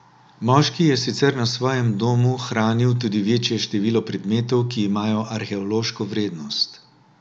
Moški je sicer na svojem domu hranil tudi večje število predmetov, ki imajo arheološko vrednost.